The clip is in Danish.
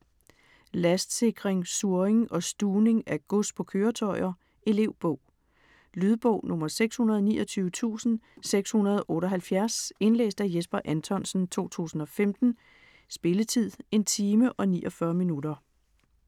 Lastsikring, surring og stuvning af gods på køretøjer Elevbog. Lydbog 629678 Indlæst af Jesper Anthonsen, 2015. Spilletid: 1 time, 49 minutter.